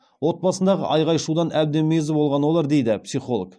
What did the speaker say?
отбасындағы айғай шудан әбден мезі болған олар дейді психолог